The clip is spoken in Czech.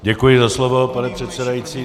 Děkuji za slovo, pane předsedající.